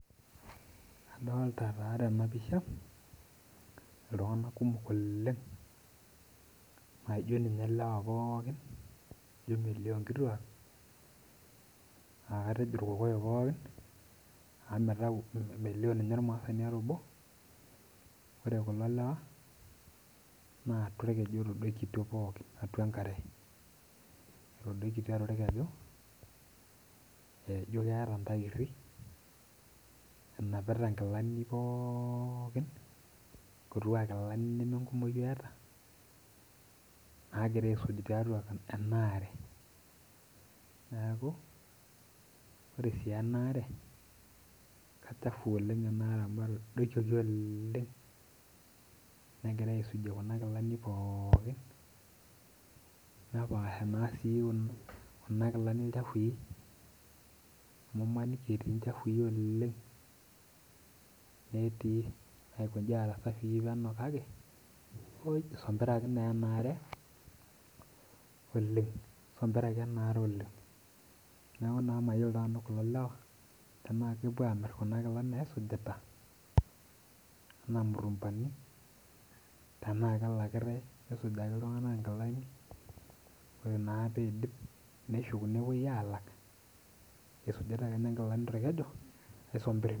Adolita taa tenapisha ltung'anak kumok oleng' naijo ninye lewa pooki. Ijo melio nkituak akajo irkokoyo pooki amu mitau melio ninye ormaasani obo. Ore kulo lewa na aatua orkeju etadokitio pookin atua enkare, atadoikitio atua orkeju tontairri enapita nkilani pookin etiu ana nemeeta nagira aaisuj tiatua enaare neaku ore si enaare na kachafu oleng amu etodokioki oleng negirai aisujie kuna kilani pookin nepaasha si kuna kilani lchafui amu imaniki etii lchafui oleng netii naikobnji aaku safii penyo kake isompiraki enaare Oleniisombiraki enaare oleng neaku mayiolo nanu kulo lewa tana kepuo amir kuna kilani naisujita anaa mutumbani ana kelakitae misujaki ltunganak nkilani ore na peidip neshuk nepuoi alak isujita akeenye nkilani torkeku oisombir.